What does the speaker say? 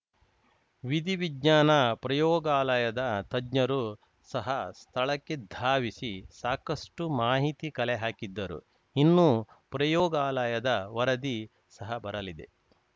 ವಿಧಿ ವಿಜ್ಞಾನ ಪ್ರಯೋಗಾಲಯದ ತಜ್ಞರು ಸಹ ಸ್ಥಳಕ್ಕೆ ಧಾವಿಸಿ ಸಾಕಷ್ಟುಮಾಹಿತಿ ಕಲೆ ಹಾಕಿದ್ದರು ಇನ್ನು ಪ್ರಯೋಗಾಲಯದ ವರದಿ ಸಹ ಬರಲಿದೆ